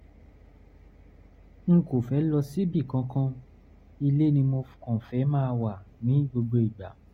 n kò fẹ́ lọ síbì kankan; ilé ni mo kàn fẹ́ máa wà ní gbogbo ìgbà